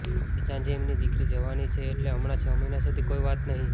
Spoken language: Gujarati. કે સાંજે એમની દીકરી જવાની છે એટલે હમણાં છ મહિના સુધી કોઈ વાત નહી